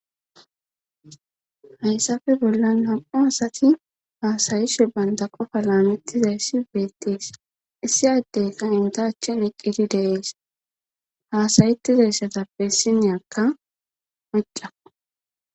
hayssafe bollan ham7u asati haasayishe banta qofa laamettizayssi beettees issi addeyka intachen eqqidi dees haasayettidayssatappeissinyakka mucca